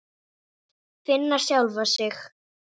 Finna sjálfa sig.